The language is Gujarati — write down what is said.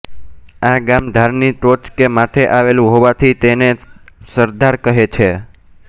આ ગામ ધારની ટોચ કે માથે આવેલું હોવાથી તેને સરધાર કહે છે